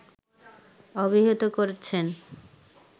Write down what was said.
অভিহিত করছেন